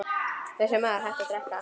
Þessi maður hætti að drekka.